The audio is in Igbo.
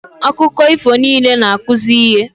Akụkọ ifo niile na-akụzi ihe